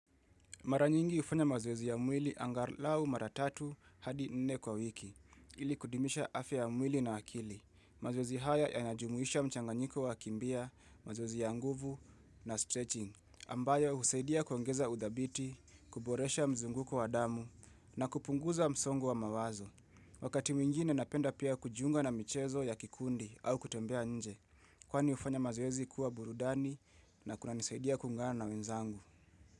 Mara nyingi hufanya mazoeezi ya mwili angalau mara tatu hadi nne kwa wiki, ili kudumisha afya ya mwili na akili. Mazoezi haya yanajumuisha mchanganyiko wa kukimbia, mazoezi ya nguvu na stretching, ambayo husaidia kuongeza udhabiti, kuboresha mzunguko wa damu na kupunguza msongo wa mawazo. Wakati mwingine napenda pia kujiunga na michezo ya kikundi au kutembea nje, kwani hufanya mazoezi kuwa burudani na kunanisaidia kuungana na wenzangu.